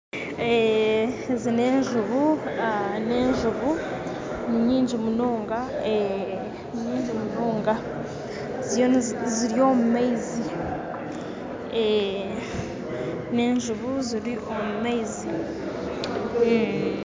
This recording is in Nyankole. Ezi nenjubu ninyingyi munonga ziri omumaizi nenjubu ziri omumaizi